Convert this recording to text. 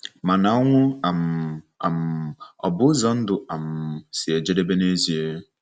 Mana ọnwụ um um ọ̀ bụ ụzọ ndụ um si ejedebe n'ezie?